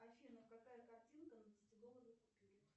афина какая картинка на десятидолларовой купюре